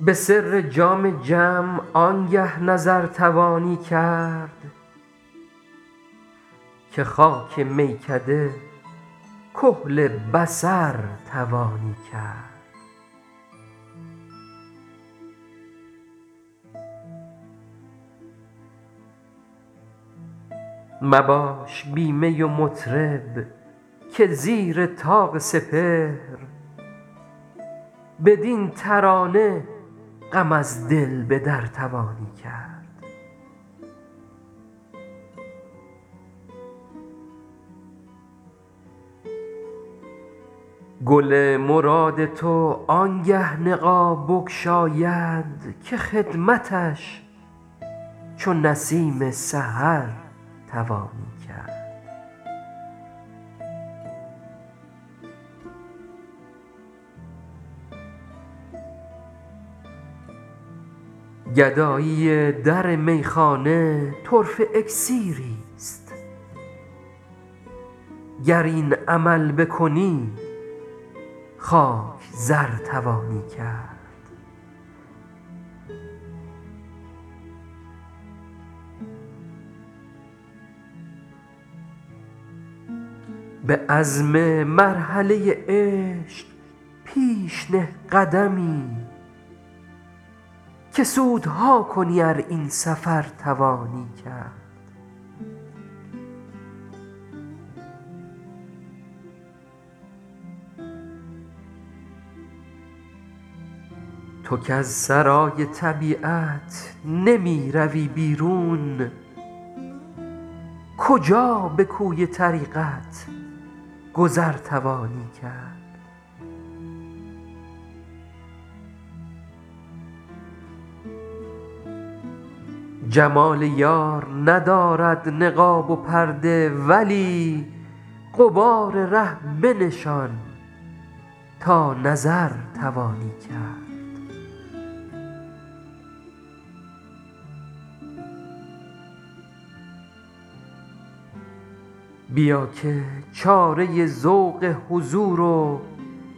به سر جام جم آنگه نظر توانی کرد که خاک میکده کحل بصر توانی کرد مباش بی می و مطرب که زیر طاق سپهر بدین ترانه غم از دل به در توانی کرد گل مراد تو آنگه نقاب بگشاید که خدمتش چو نسیم سحر توانی کرد گدایی در میخانه طرفه اکسیریست گر این عمل بکنی خاک زر توانی کرد به عزم مرحله عشق پیش نه قدمی که سودها کنی ار این سفر توانی کرد تو کز سرای طبیعت نمی روی بیرون کجا به کوی طریقت گذر توانی کرد جمال یار ندارد نقاب و پرده ولی غبار ره بنشان تا نظر توانی کرد بیا که چاره ذوق حضور و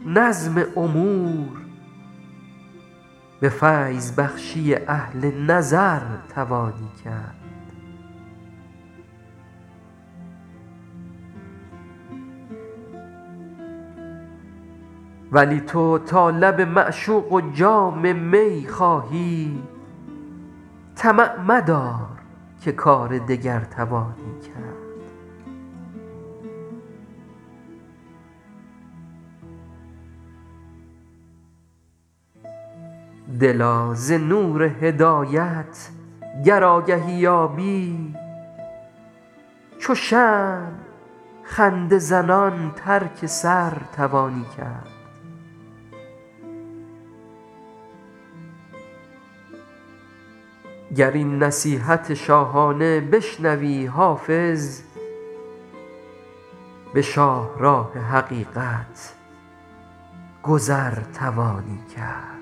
نظم امور به فیض بخشی اهل نظر توانی کرد ولی تو تا لب معشوق و جام می خواهی طمع مدار که کار دگر توانی کرد دلا ز نور هدایت گر آگهی یابی چو شمع خنده زنان ترک سر توانی کرد گر این نصیحت شاهانه بشنوی حافظ به شاهراه حقیقت گذر توانی کرد